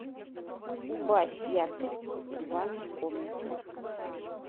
убавь яркость в ванной комнате